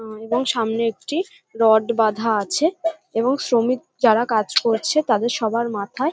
সামনে একটি রড বাধা আছে এবং শ্রমিক যারা কাজ করছে তাদের সবার মাথায়--